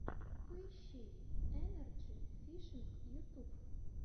поищи энарджи фишинг ютуб